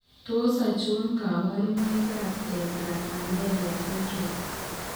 Tos achon kabarunaik ab Tetra amelia syndrome ?